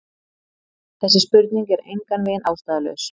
Þessi spurning er engan veginn ástæðulaus.